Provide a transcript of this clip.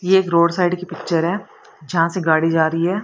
ये एक road side की पिक्चर है जहां से गाड़ी जा री है।